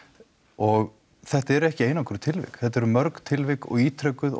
og þetta eru ekki einangruð tilvik þetta eru mörg tilvik og ítrekuð